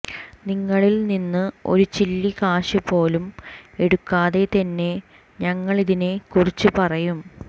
നിങ്ങളിൽ നിന്ന് ഒരു ചില്ലിക്കാശുപോലും എടുക്കാതെ തന്നെ ഞങ്ങളിതിനെ കുറിച്ച് പറയും